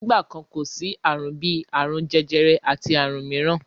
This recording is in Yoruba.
Nígbà kan, kò sí àrùn bí àrùn jẹjẹrẹ àti àrùn mìíràn.